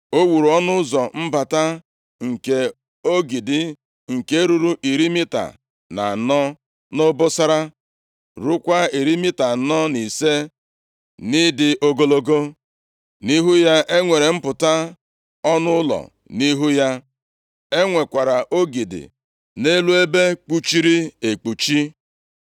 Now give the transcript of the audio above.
O wuru ọnụ ụzọ mbata nke ogidi, nke ruru iri mita na anọ nʼobosara, rukwaa iri mita anọ na ise nʼịdị ogologo. Nʼihu ya, e nwere mpụta ọnụ ụlọ, nʼihu ya, e nwekwara ogidi na elu ebe kpuchiri ekpuchi.